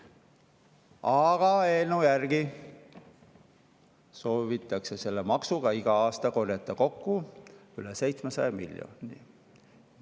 Aga eelnõu järgi soovitakse selle maksuga iga aasta korjata kokku üle 700 miljoni.